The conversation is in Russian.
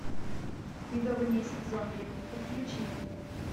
медовый месяц зомби подключи